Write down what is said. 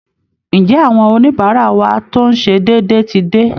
Ǹjẹ́ àwọn oníbàárà wa tó ń ṣe déédéé ti dé?